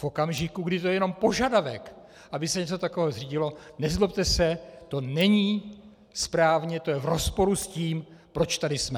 V okamžiku, kdy je to jenom požadavek, aby se něco takového zřídilo, nezlobte se, to není správně, to je v rozporu s tím, proč tady jsme.